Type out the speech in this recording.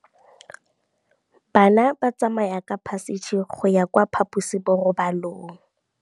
Bana ba tsamaya ka phašitshe go ya kwa phaposiborobalong.